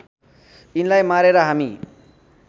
यिनलाई मारेर हामी